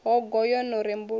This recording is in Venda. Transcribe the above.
hogo yo no rembuluwa u